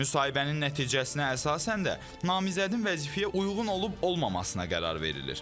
Müsahibənin nəticəsinə əsasən də namizədin vəzifəyə uyğun olub-olmamasına qərar verilir.